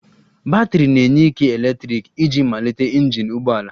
Batrị na-enye ike eletrik iji malite injin ụgbọ ala